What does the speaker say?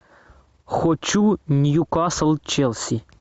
хочу ньюкасл челси